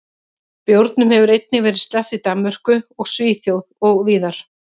Bjórum hefur einnig verið sleppt í Danmörku og Svíþjóð og víðar.